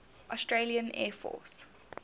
australian air force